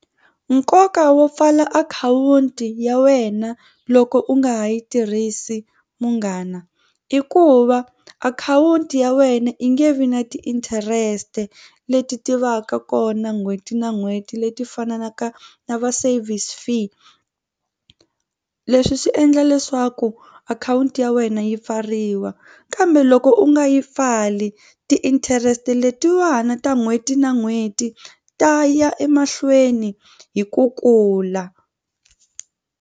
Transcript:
Nkoka wo pfala akhawunti ya wena loko u nga ha yi tirhisi munghana i ku va akhawunti ya wena i nge vi na ti-interest leti tivaka kona n'hweti na n'hweti leti fananaka na va service fee. Leswi swi endla leswaku akhawunti ya wena yi pfariwa kambe loko u nga yi pfali ti-interest letiwani ta n'hweti na n'hweti ta ya emahlweni hi ku kula.